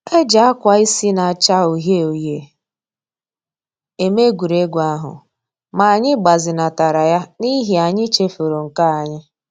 E ji akwa isi na-acha uhie uhie eme egwuregwu ahụ, ma anyị gbazinatara ya n'ihi anyị chefuru nke anyị